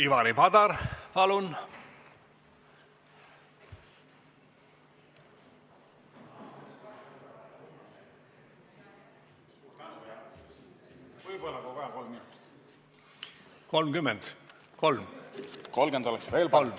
Ivari Padar, palun!